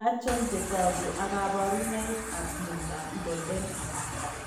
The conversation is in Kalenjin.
Achon chetogu ak kaborunoik ab miondab Goldenhar?